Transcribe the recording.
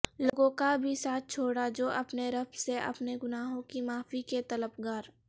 لوگوں کا بھی ساتھ چھوڑا جو اپنے رب سے اپنے گناہوں کی معافی کے طلبگار